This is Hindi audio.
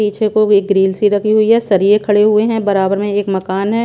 पीछे को एक ग्रील सी रखी हुई है सरिए खड़े हुए हैं बराबर में एक मकान है।